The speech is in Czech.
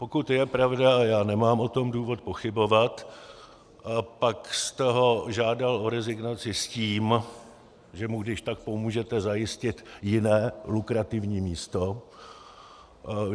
Pokud je pravda, a já nemám o tom důvod pochybovat, pak jste ho žádal o rezignaci s tím, že mu když tak pomůžete zajistit jiné lukrativní místo.